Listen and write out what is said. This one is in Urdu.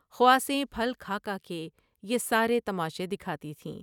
خواصیں پھل کھا کھا کے یہ سارے تماشے دکھاتی تھیں ۔